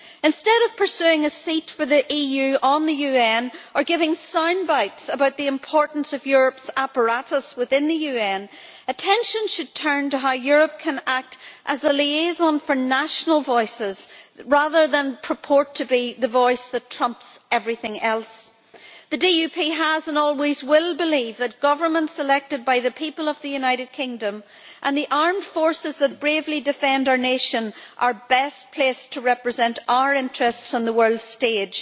Instead of pursuing a seat for the EU on the UN or giving sound bites about the importance of Europe's apparatus within the UN, attention should turn to how Europe can act as a liaison for national voices rather than purport to be the voice that trumps everything else. The DUP has believed and always will believe that governments elected by the people of the United Kingdom, and the armed forces that bravely defend our nation, are best placed to represent our interests on the world stage.